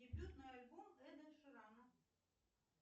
дебютный альбом эда ширана